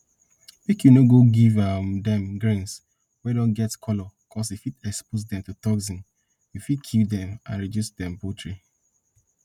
make you no give um dem grains wey don get color cuz e fit expose dem to toxin we fit kill dem and reduce dem poultry